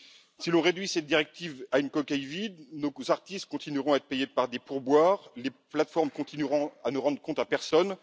Si l'on réduit cette directive à une coquille vide, nos artistes continueront à être payés par des pourboires et les plateformes continueront à ne rendre de comptes à personne.